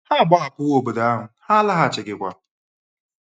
Ha agbahapụwo obodo ahụ, ha alaghachighịkwa.